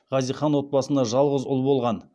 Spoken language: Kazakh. хазихан отбасында жалғыз ұл болған